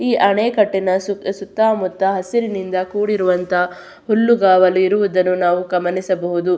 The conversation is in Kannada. ಈ ಅಣೆಕಟ್ಟಿನ ಸು ಸುತ್ತಾಮುತ್ತಾ ಹಸಿರಿನಿಂದಾ ಕೂಡಿರುವಂತ ಹುಲ್ಲುಗಾವಲು ಇರುವುದನ್ನು ನಾವು ಗಮನಿಸಬಹುದು.